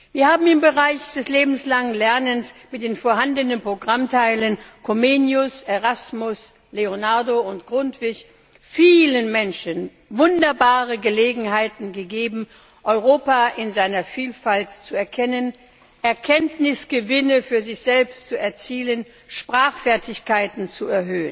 Wir haben im Bereich des lebenslangen Lernens mit den vorhandenen Programmteilen Comenius, Erasmus, Leonardo und Grundtvig vielen Menschen wunderbare Gelegenheiten gegeben, Europa in seiner Vielfalt zu erkennen, Erkenntnisgewinne für sich selbst zu erzielen, Sprachfertigkeiten zu